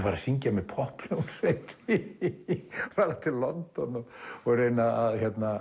að syngja með popphljómsveit fara til London og og reyna